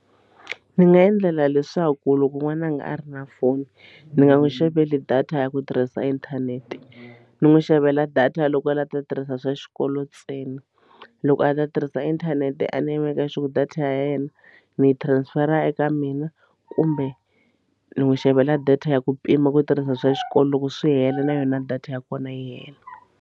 Ndzi nga endlela leswaku loko n'wana a nga a ri na foni ndzi nga n'wi xaveli data ya ku tirhisa inthanete ni n'wi xavela data loko a lava ku ta tirhisa swa xikolo ntsena loko a data tirhisa inthanete a ni maka sure ku ri data ya yena ni transfer eka mina kumbe ni n'wi xavela data ya ku pima ku tirhisa swa xikolo loko swi hela na yona data ya kona yi hela.